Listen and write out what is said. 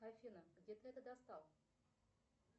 афина где ты это достал